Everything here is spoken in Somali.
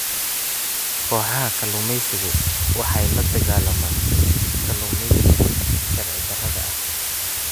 Kooxaha kalluumaysigu waxay la dagaalamaan kalluumaysiga sharci darrada ah.